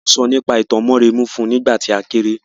Wọ́n sọ nípa ìtàn Mórèmí fún nígbà tí a kéré.